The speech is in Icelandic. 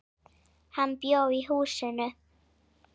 Hann bjó í húsinu.